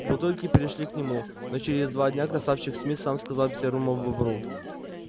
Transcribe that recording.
бутылки перешли к нему но через два дня красавчик смит сам сказал серому бобру